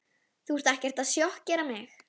Þú ert ekkert að sjokkera mig.